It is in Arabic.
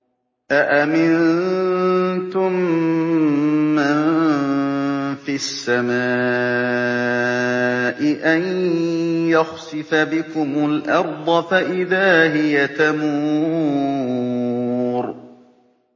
أَأَمِنتُم مَّن فِي السَّمَاءِ أَن يَخْسِفَ بِكُمُ الْأَرْضَ فَإِذَا هِيَ تَمُورُ